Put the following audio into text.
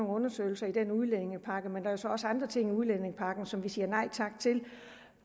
undersøgelser i udlændingepakken men der er jo så også andre ting i udlændingepakken som vi siger nej tak til